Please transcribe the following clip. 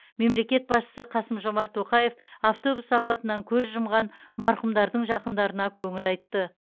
мемлекет басшысы қасым жомарт тоқаев автобус апатынан көз жұмған марқұмдардың жақындарына көңіл айтты